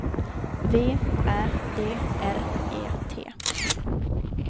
V Ä D R E T